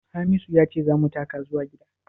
Hamisu ya ce za mu taka zuwa gida?